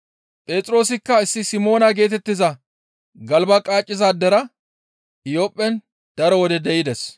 Phexroosikka issi Simoona geetettiza galba qaacizaadera Iyophphen daro wode de7ides.